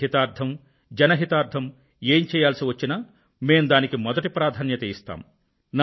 దేశ హితార్ధం జనహితార్థం ఏం చేయాల్సివచ్చినా మేం దానికి మొదటి ప్రాధాన్యతను ఇస్తాము